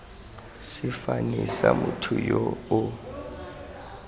sefane sa motho yo o